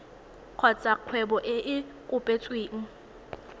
kgotsa kgwebo e e kopetsweng